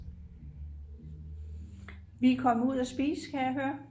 vi er kommet ud at spise kan jeg høre